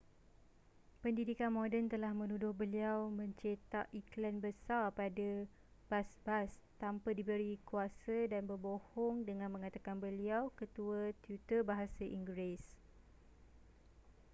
pendidikan moden telah menuduh beliau mencetak ikhlan besar pada bas-basa tanpa diberi kuasa dan berbohong dengan mengatakan beliau ketua tutor bahasa inggeris